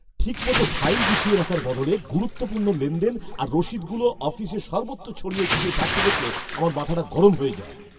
ঠিকমতো ফাইলে গুছিয়ে রাখার বদলে গুরুত্বপূর্ণ লেনদেন আর রসিদগুলো অফিসের সর্বত্র ছড়িয়ে ছিটিয়ে থাকতে দেখলে আমার মাথাটা গরম হয়ে যায়।